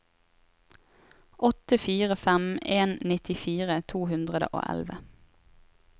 åtte fire fem en nittifire to hundre og elleve